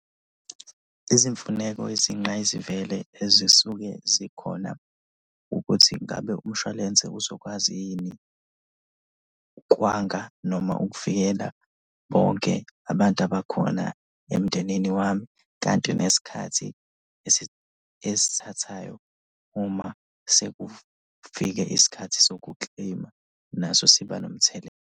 Izimfuneko eziyingqayizivele ezisuke zikhona ukuthi ngabe umshwalense uzokwazi yini ukwanga noma ukuvikela bonke abantu abakhona lo emndenini wami? Kanti nesikhathi esithathayo uma sekufike isikhathi soku-claim-a naso siba nomthelela.